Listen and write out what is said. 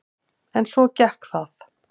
En svo gekk það.